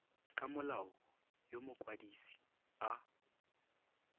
ka molao yo mokwadise a